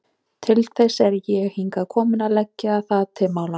Til þess er ég hingað kominn, að leggja það til málanna.